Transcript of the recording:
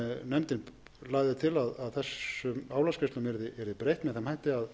nefndin lagði til að þessum álagsgreiðslum yrði breytt með þeim hætti að